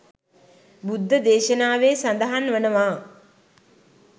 බුද්ධ දේශනාවේ සඳහන් වනවා.